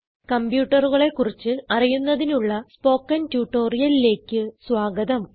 കംപ്യൂട്ടറുകളെ കുറിച്ച് അറിയുന്നതിനുള്ള സ്പോകെൺ ട്യൂട്ടോറിയലിലേക്ക് സ്വാഗതം